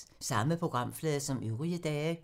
Samme programflade som øvrige dage